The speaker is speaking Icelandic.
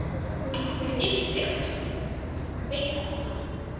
Hún yppir öxlum, veit það ekki.